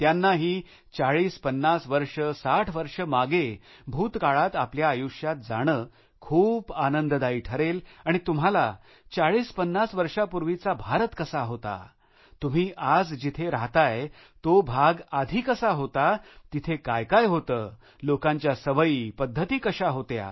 त्यांनाही 4050 वर्षे 60 वर्षे मागे भूतकाळात आपल्या आयुष्यात जाणे खूप आनंददायी ठरेल आणि तुम्हाला 4050 वर्षापूर्वीचा भारत कसा होता तुम्ही आज जिथे राहताय तो भाग आधी कसा होता तिथे काय काय होते लोकांच्या सवयी पद्धती कशा होत्या